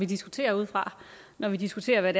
diskuterer ud fra når vi diskuterer hvad